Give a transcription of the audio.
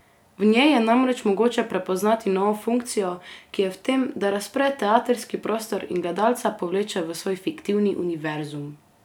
V njej je namreč mogoče prepoznati novo funkcijo, ki je v tem, da razpre teatrski prostor in gledalca povleče v svoj fiktivni univerzum.